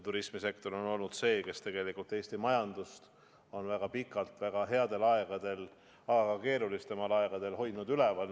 Turismisektor on olnud see, kes tegelikult Eesti majandust on väga pikalt headel aegadel, aga ka keerulisematel aegadel üleval hoidnud.